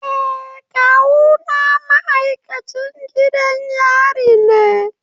Eh kawuna ma'aikacin gidan yari ne.